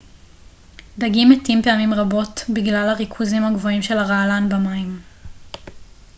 דגים מתים פעמים רבות גלל הריכוזים הגבוהים של הרעלן במים